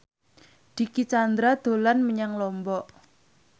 Dicky Chandra dolan menyang Lombok